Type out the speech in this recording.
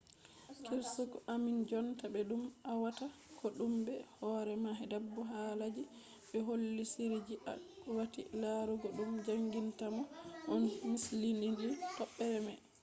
kirseeku ammin jonta be dum awatta kodume be hore ma bebo halaji be holli shiriji akwati larugo dum jangintamon on mislidini tobbere mai